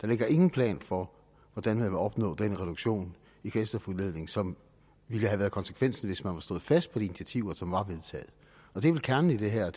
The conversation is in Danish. der ligger ingen plan for hvordan man vil opnå den reduktion i kvælstofudledning som ville have været konsekvensen hvis man havde stået fast på de initiativer som var vedtaget og det er vel kernen i det her